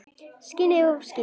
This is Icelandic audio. Skinnið of sítt.